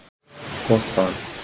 Gott val.